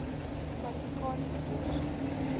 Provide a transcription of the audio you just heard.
kwalifikasies deursoek